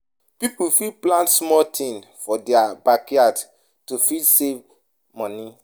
Pipo fit plant small things for their backyard to fit save money